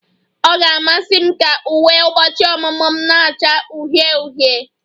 Ọ ga-amasị m ka uwe ụbọchị ọmụmụ m na-acha uhie uhie